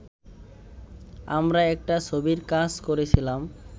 আমরা একটা ছবির কাজ করেছিলাম